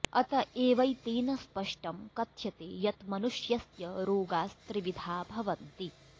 अत एवैतेन स्पष्टं कथ्यते यत् मनुष्यस्य रोगास्त्रिविधा भवन्ति